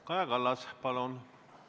Kaja Kallas, palun!